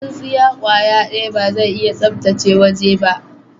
Tsinsiya kwaya daya ba zai iya sabtace waje ba.